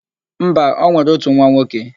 Mba, o nwere ótù nwa nwoke.